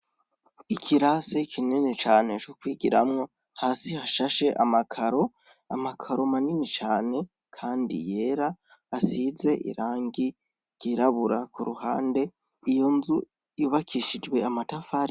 Ikirasi kinini cane co kwigiramwo, hasi hashashe amakaro, amakaro manini cane kandi yera, asize irangi ryirabura ku ruhande, iyo nzu yubakishijwe amatafari.